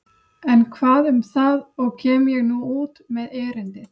En hvað um það og kem ég nú út með erindið.